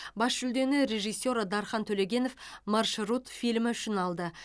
бас жүлдені режиссер дархан төлегенов маршрут фильмі үшін алды